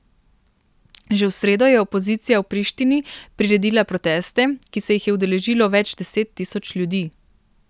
Že v sredo je opozicija v Prištini priredila proteste, ki se jih je udeležilo več deset tisoč ljudi.